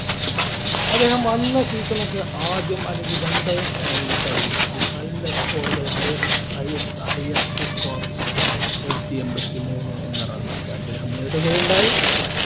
അദ്ദേഹം വന്ന season ഒക്കെ ആദ്യം അല്ലെങ്കിൽ one down ഇറങ്ങി പരീക്ഷിച്ചു നല്ല score കൾ ഹൈസ് ഹൈസ് highest score നൂറ്റി എണ്പത്തിമൂന്ന് എന്ന run ഒക്കെ അദ്ദേഹം നേടുകയുണ്ടായി